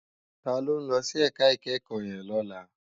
Tola n lòsí èká ikèékò yèn lòlá